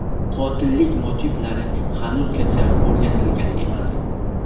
Qotillik motivlari hanuzgacha o‘rganilgan emas.